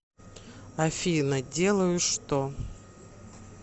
афина делаю что